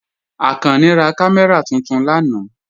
Akànní rá kàmẹ́ra tuntun lànà.